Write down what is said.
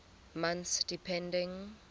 months depending